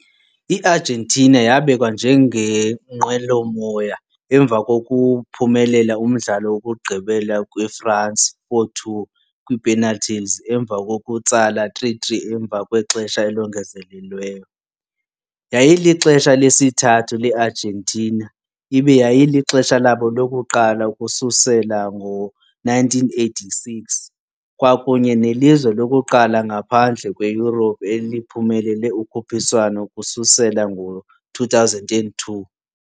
IArgentina yabekwa njengengqwelomoya emva kokuphumelela umdlalo wokugqibela kwiFrance 4-2 kwiipenalti emva kokutsala 3-3 emva kwexesha elongezelelweyo. Yayilixesha lesithathu leArgentina, ibe yayilixesha labo lokuqala ukususela ngo-1986, kwakunye nelizwe lokuqala ngaphandle kweYurophu eliphumelele ukhuphiswano ukususela ngo-2002.